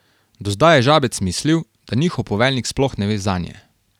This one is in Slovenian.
Do zdaj je Žabec mislil, da njihov poveljnik sploh ne ve zanje.